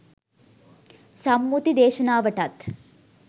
සම්මුති දේශනාවටත්